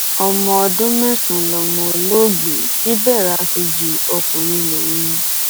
ọmọ ọdún mẹsàn-án lọmọ olóògbé chibera kejì ọkùnrin lòun